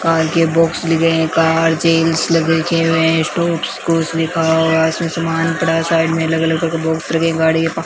car के box लगे हैं कार जेंट्स लिखे हुए हैं स्टॉप्स लिखा हुआ है उसमें सामान पड़ा है साइड में अलग अलग के गाड़ी --